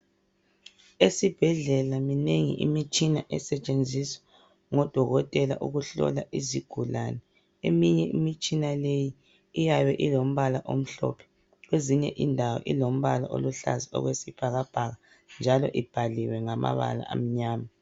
Esibhedlela minengi imitshina esetshenziswa ngodokotela ukuhlola izigulane eminye imitshina leyi iyabe ilombala omhlophe kwezinye indawo ilombala oluhlaza okwesibhakabhaka njalo ibhaliwe ngamabala amnyama.